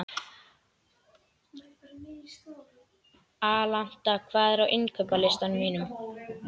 Alanta, hvað er á innkaupalistanum mínum?